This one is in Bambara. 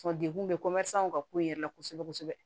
degun bɛ ka ko in yɛrɛ la kosɛbɛ kosɛbɛ